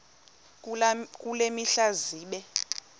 kule mihla zibe